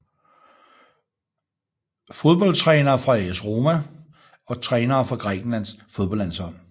Fodboldtrænere fra AS Roma Trænere for Grækenlands fodboldlandshold